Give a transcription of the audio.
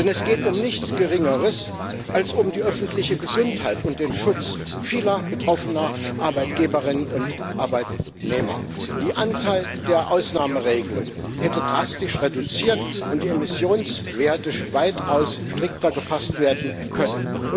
Denn es geht um nichts Geringeres als um die öffentliche Gesundheit und den Schutz vieler betroffener Arbeitnehmerinnen und Arbeitnehmer. Die Anzahl der Ausnahmeregelungen hätte drastisch reduziert und die Emissionswerte hätten weitaus strikter gefasst werden können.